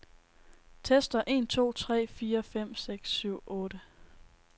Tester en to tre fire fem seks syv otte.